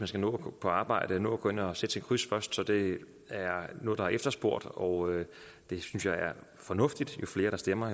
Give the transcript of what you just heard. skal nå på arbejde og nå at gå ind og sætte sit kryds først så det er noget der er efterspurgt og det synes jeg er fornuftigt jo flere der stemmer